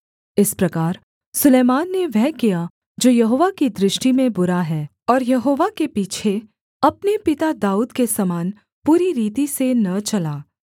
इस प्रकार सुलैमान ने वह किया जो यहोवा की दृष्टि में बुरा है और यहोवा के पीछे अपने पिता दाऊद के समान पूरी रीति से न चला